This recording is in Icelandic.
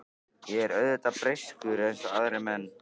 Ég er auðvitað breyskur eins og aðrir menn.